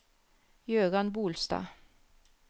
Gøran Bolstad